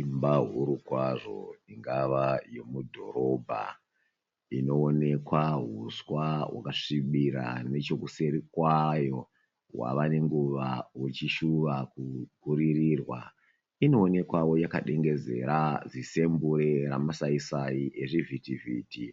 Imba huru kwazvo ingava yemudhorobha inoonekwa huswa hwakasvibira. Nechekuseri kwayo hwava nenguva huchishuva kupfuririrwa inoonekwawo yakadengezera zisemburi remasai sai rechivhiti vhiti.